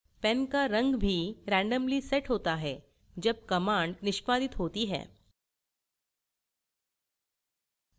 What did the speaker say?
pen का रंग भी randomly set होता है जब command निष्पादित होती है